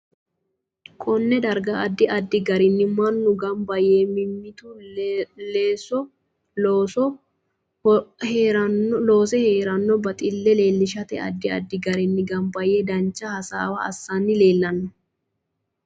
KOnne darga addi addi garinni manu ganba yee mimitu leso heeranno baxille leelishate addi addi garinni ganba yee dancha hasaawa assani leelanno